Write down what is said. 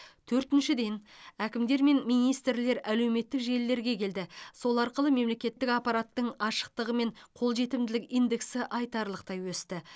төртіншіден әкімдер мен министрлер әлеуметтік желілерге келді сол арқылы мемлекеттік аппараттың ашықтығы мен қолжетімділік индексі айтарлықтай өсті